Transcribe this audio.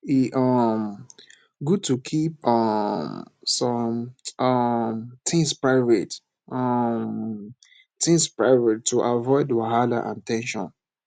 e um good to keep um some um things private um things private to avoid wahala and ten sion